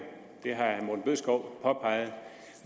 det har herre morten bødskov påpeget